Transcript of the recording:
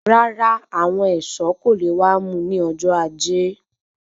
Rárá àwọn ẹṣọ kò lè wà mú ní ọjọ ajé